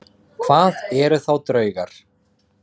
Hvað eru þá draugar?